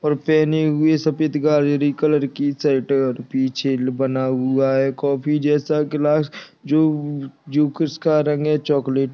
पहने हुए सफेद गाजेरी कलर की शर्ट और पीछे बना हुआ है कॉफी जैसा ग्लास जो जो किसका रंग है चॉकलेट --